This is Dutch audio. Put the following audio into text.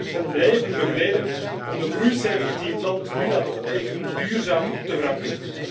Europa moet hen blijven begeleiden om de groeicijfers die het land nu laat optekenen, duurzaam te verankeren.